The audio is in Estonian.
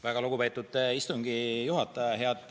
Väga lugupeetud istungi juhataja!